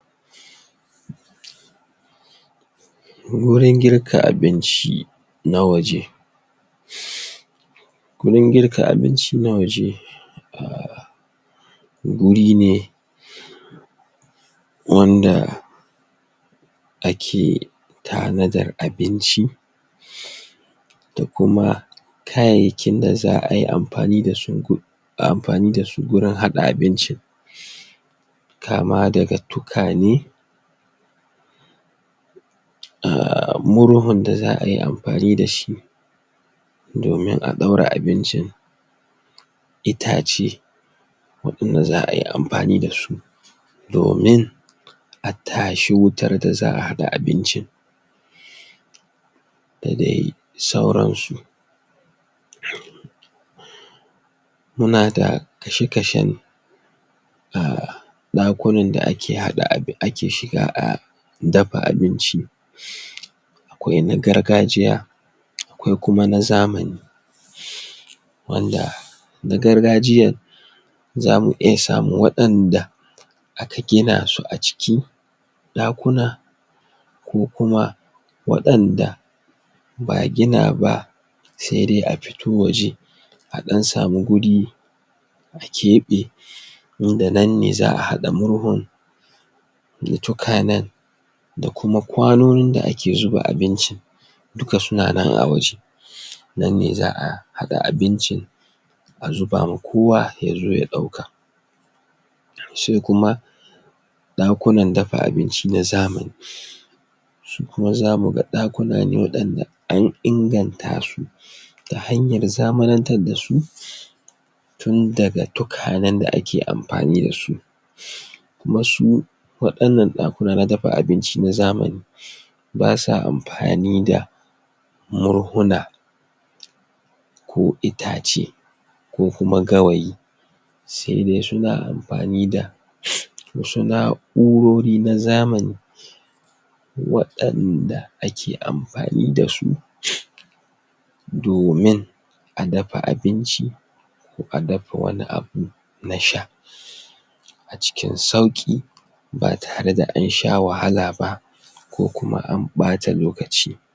wurin girka abinci na waje wurin girka abinci na waje wurin ne wanda a ke tanadar abinci da kuma kayayyakin da za'a yi amfani dasu amfani dasu gurin haɗa abinci kama daga tukwane Ah murhun da za'a yi amfani dashi domin a ɗaura abincin itace waɗanda za'a yi amfani dasu domin a tashi wutar da za'a haɗa abincin da dai sauransu muna da kashe-kashen Ah ɗakunan da ake haɗa abi ake shiga a dafa abinci akwai na gargajiya akwai kuma na zamani wanda na gargajiyar zamu iya samun waɗanda aka gina su a ciki ɗakuna ko kuma waɗanda ba'a gina ba sai dai a fito waje a ɗan samu wuri a keɓe inda nan ne za'a haɗa murhun da tukwanan da kuma kwanonin da ake zuba abincin duka suna na a waje nan ne za'a haɗa abinci a zuba ma kowa yazo ya ɗauka sai kuma ɗakunan dafa abinci na zamani su kuma zamu ga ɗakunan ne waɗanda an inganta su ta hanyar zamanatar dasu tunda daga tukwanan da ake amfani dasu kuma su waɗannan ɗakunan na dafa abinci na zamani basa amfani da murhuna ko itace ko kuma gawayi sai dai suna amfani da wasu na'o'rori na zamani waɗanda ake amfani dasu domin a dafa abinci ko a dafa wani abu na sha a cikin sauƙi ba tare da ansha wahala ba ko kuma an ɓata lokaci